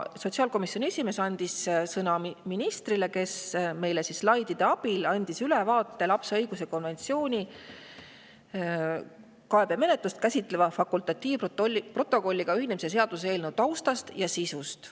Sotsiaalkomisjoni esimees andis sõna ministrile, kes andis meile slaidide abil ülevaate kaebemenetlust käsitleva lapse õiguste konventsiooni fakultatiivprotokolliga ühinemise seaduse eelnõu taustast ja sisust.